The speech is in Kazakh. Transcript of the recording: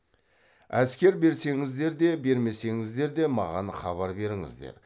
әскер берсеңіздер де бермесеңіздер де маған хабар беріңіздер